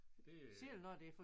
Selv når det er for